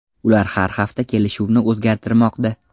Ular har hafta kelishuvni o‘zgartirmoqda.